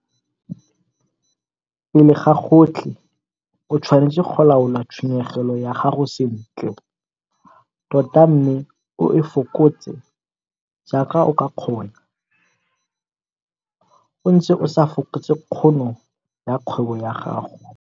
Pele ga gotlhe o tshwanetse go laola tshenyegelo ya gago sentle tota mme o e fokotse jaaka o ka kgona o ntse o sa fokotse kgono ya kgwebo ya gago.